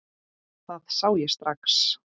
Það sá ég strax.